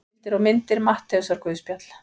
Heimildir og myndir Matteusarguðspjall.